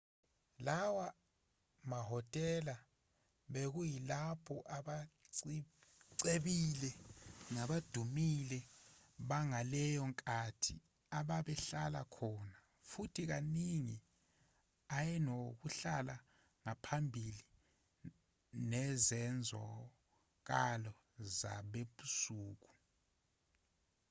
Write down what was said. lawa mahhotela bekuyilapho abacebile nabadumile bangaleyo nkathi ababehlala khona futhi kaningi ayenokuhla okuphambili nezenzakalo zasebusuku